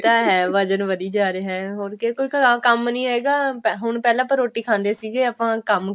ਇਹ ਤਾਂ ਹੈ ਵਜਣ ਵਧੀ ਜਾ ਰਿਹਾ ਹੋਰ ਕਿਉਂਕਿ ਘਰਾਂ ਕੰਮ ਨਹੀਂ ਹੈਗਾ ਹੁਣ ਪਹਿਲਾਂ ਆਪਾਂ ਰੋਟੀ ਖਾਂਦੇ ਸੀਗੇ ਆਪਾਂ ਕੰਮ